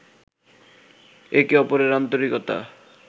একে অপরের আন্তরিকতা